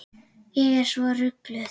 Ég er svo rugluð.